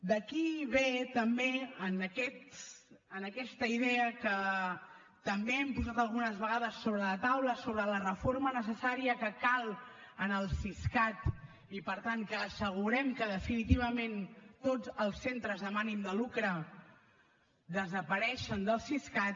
d’aquí ve també aquesta idea que també hem posat algunes vegades sobre la taula sobre la reforma necessària que cal en el siscat i per tant que assegurem que definitivament tots els centres amb ànim de lucre desapareixen del siscat